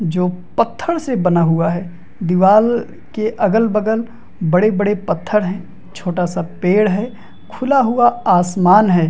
जो पत्थर से बना हुआ है दीवार के अगल-बगल बड़े-बड़े पत्थर है छोटा सा पेड़ है खुला हुआ आसमान हैं।